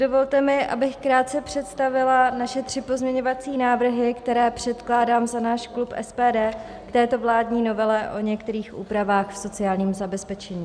Dovolte mi, abych krátce představila naše tři pozměňovací návrhy, které předkládám za náš klub SPD k této vládní novele o některých úpravách v sociálním zabezpečení.